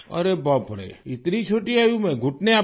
अरे बाप रे इतनी छोटी आयु में घुटने आपके